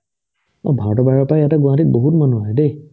এই ভাৰতৰ বাহিৰৰ পাই ইয়াতে গুৱাহাটীত বহুত মানুহ আহে দেই